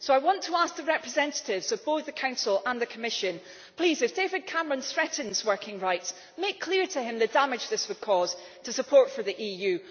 So I want to ask the representatives of both the Council and the Commission please, if David Cameron threatens working rights, make clear to him the damage this would cause to support for the EU.